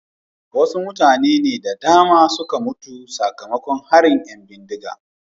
wasu mutane da dama ne suka mutu sakamakon harin ‘yan bindiga.